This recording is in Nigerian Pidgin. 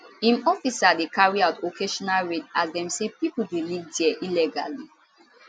im officers dey carry out occasional raid as dem say pipo dey live dia illegally